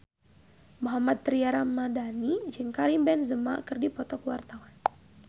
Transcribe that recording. Mohammad Tria Ramadhani jeung Karim Benzema keur dipoto ku wartawan